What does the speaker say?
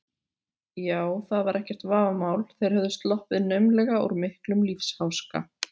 Já, það var ekkert vafamál, þeir höfðu sloppið naumlega úr miklum lífsháska.